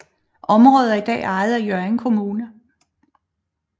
Området er i dag ejet af Hjørring Kommune